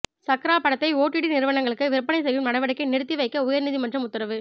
சக்ரா படத்தை ஓடிடி நிறுவனங்களுக்கு விற்பனை செய்யும் நடவடிக்கையை நிறுத்தி வைக்க உயர் நீதிமன்றம் உத்தரவு